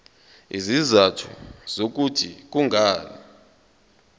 izizathu zokuthi kungani